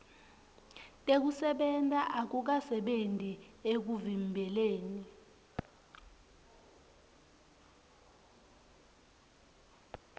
tekusebenta akukasebenti ekuvimbeleni